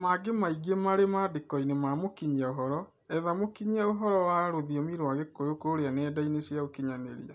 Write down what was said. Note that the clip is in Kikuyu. Na mangĩ maĩngĩ marĩ mandĩkoĩnĩ ma mũkĩnyĩa ũhoro, etha mũkĩnyĩa ũhoro ya rũthĩomĩ rwa gĩkũyũ kũrĩa nenda-ĩnĩ cĩa ũkĩnyanĩrĩa